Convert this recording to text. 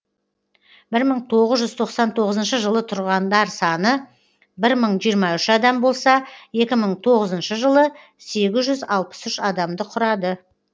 бір мың тоғыз жүз тоқсан тоғызыншы жылы тұрғандар саны бір мың жиырма үш адам болса екі мың тоғызыншы жылы сегіз жүз алпыс үш адамды құрады